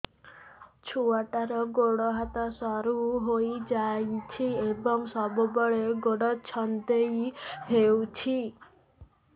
ଛୁଆଟାର ଗୋଡ଼ ହାତ ସରୁ ହୋଇଯାଇଛି ଏବଂ ସବୁବେଳେ ଗୋଡ଼ ଛଂଦେଇ ହେଉଛି